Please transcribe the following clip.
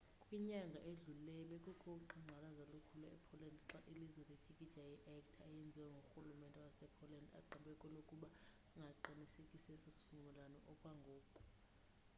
kwinyanga edlulileyo bekukho uqhankqalazo olukhulu e-poland xa ilizwe lityikitya i-acta eyenze urhululmente wase-poland agqibe kwelukuba angasiqinisekisi eso sivumelwano okwangoku